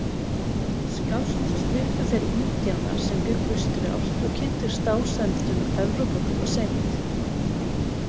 Skást sluppu þeir Indíánar sem bjuggu strjált og kynntust dásemdum Evrópubúa seint.